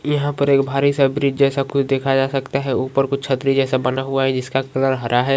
यहाँ पर एक भारी सा ब्रिज जैसा कुछ देखा जा सकता है | ऊपर कुछ छतरी जैसा बना हुआ है जिसका कलर हरा है।